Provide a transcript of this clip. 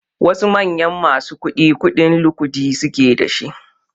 Wasu manyan masu kuɗi kuɗin lukuɗi suke da shi